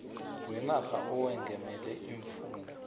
wenarha owengamele iimfunda